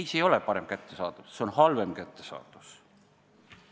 Ei, see ei ole parem kättesaadavus, see on halvem kättesaadavus.